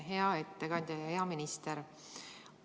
Hea ettekandja ja hea minister!